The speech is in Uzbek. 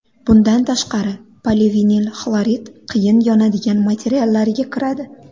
Bundan tashqari polivinilxlorid qiyin yonadigan materiallarga kiradi.